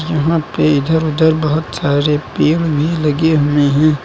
यहां पे इधर उधर बहुत सारे पेड़ भी लगे हुए हैं।